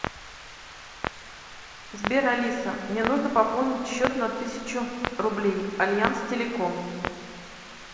сбер алиса мне нужно пополнить счет на тысячу рублей альянс телеком